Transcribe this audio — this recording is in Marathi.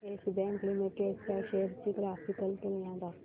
येस बँक लिमिटेड च्या शेअर्स ची ग्राफिकल तुलना दाखव